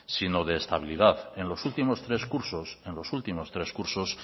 sino de estabilidad en los últimos tres cursos en los últimos tres cursos